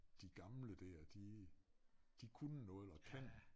De gamle der de de kunne noget og kan